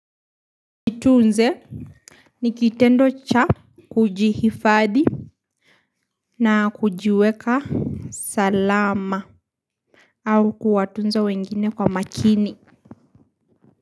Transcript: Itunze ni kitendo cha kujihifadhi na kujiweka salama. Au kuwatunza wengine kwa makini.